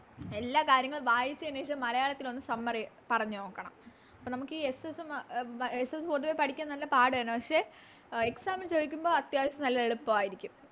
എല്ലാ കാര്യങ്ങളും വായിച്ചെന് ശേഷം മലയാളത്തിലൊന്ന് Summary പറഞ്ഞ് നോക്കണം അപ്പൊ നമുക്കി SS മ SS പൊതുവെ പഠിക്കാൻ നല്ല പാടാണ് പക്ഷെ Exam ന് ചോയിക്കുമ്പോ അത്യാവശ്യം നല്ല എളുപ്പവാരിക്കും